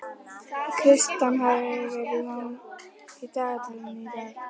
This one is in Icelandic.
Kristian, hvað er í dagatalinu í dag?